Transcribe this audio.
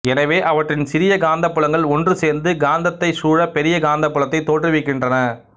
எனவே அவற்றின் சிறிய காந்தப்புலங்கள் ஒன்றுசேர்ந்து காந்தத்தைச் சூழ பெரிய காந்தப்புலத்தைத் தோற்றுவிக்கின்றன